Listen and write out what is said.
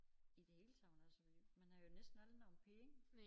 I det hele taget og selvfølgelig man har jo næsten aldrig nogen penge